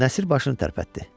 Nəsir başını tərpətdi.